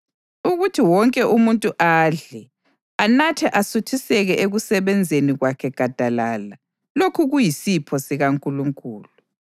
Ukuthi wonke umuntu adle, anathe asuthiseke ekusebenzeni kwakhe gadalala, lokhu kuyisipho sikaNkulunkulu.